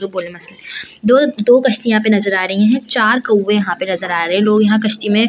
दो-दो कश्ती यहां पे नजर आ रही हैं चार कौवे यहां पे नजर आ रहे हैं लोग यहां कश्ती में --